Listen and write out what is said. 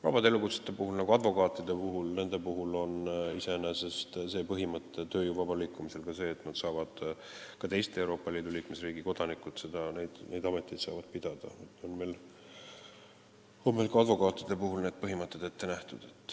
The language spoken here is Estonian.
Vabade elukutsete, näiteks advokaatide puhul kehtib iseenesest tööjõu vaba liikumise põhimõte, et ka teise Euroopa Liidu liikmesriigi kodanikud saavad neid ameteid pidada, advokaatide puhul on see põhimõte ette nähtud.